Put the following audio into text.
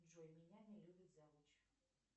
джой меня не любит завуч